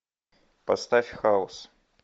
поставь хаос